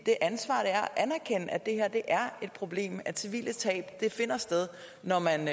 er at det er et problem at civile tab finder sted når man